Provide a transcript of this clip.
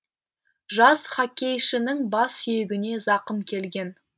жас хоккейшінің бас сүйегіне зақым келген